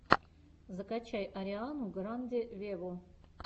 закачай ариану гранде вево